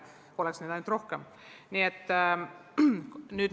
Oleks meil neid ainult rohkem!